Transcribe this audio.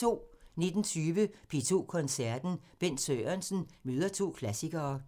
19:20: P2 Koncerten – Bent Sørensen møder to klassikere